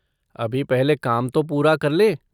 अभी पहले काम तो पूरा कर लें।